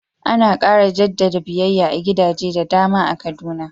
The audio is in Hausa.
Ana ƙara jaddada biyayya a gidaje da dama a Kaduna